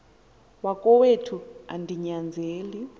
wakowethu andi nyanzeli